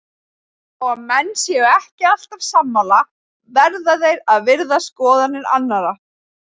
Þó að menn séu ekki alltaf sammála verða þeir að virða skoðanir annara.